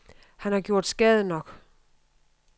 Han har gjort skade nok.